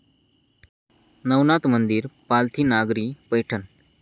नवनाथ मंदिर, पालथी नागरी पैठण